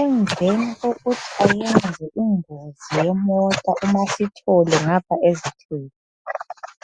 Emveni kokuthi bayenze ingozi yemota umaSithole ngapha ezithwele,